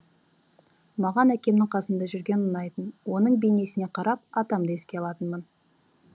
маған әкемнің қасында жүрген ұнайтын оның бейнесіне қарап атамды еске алатынмын